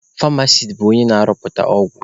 Famasis bụ onye na-arụpụta ọgwụ.